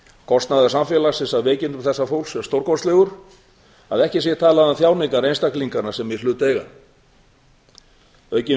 kostnaður samfélagsins af veikindum þessa fólks er stórkostlegur að ekki sé talað um þjáningar einstaklinganna sem í hlut eiga aukin